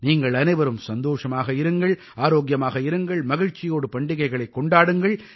நீங்கள் அனைவரும் சந்தோஷமாக இருங்கள் ஆரோக்கியமாக இருங்கள் மகிழ்ச்சியோடு பண்டிகைகளைக் கொண்டாடுங்கள்